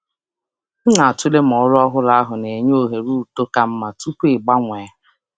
Ana m atụle ma ọrụ ọhụrụ ọ na-enye ohere uto ka mma tupu m agbanwe.